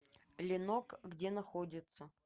ленок где находится